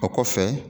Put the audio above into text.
O kɔfɛ